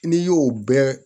N'i y'o bɛɛ